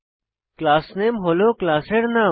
class নামে হল ক্লাসের নাম